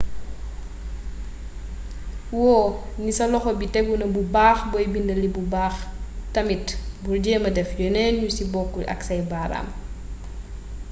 wóo ni sa loxo bi téguna bu baax booy bindee lii bu baax tamit bul jeema def yeneen yu si bokkul ak say baaraam